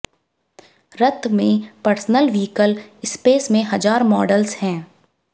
रत में personal vehicle space में हजार मॉडल्स हैं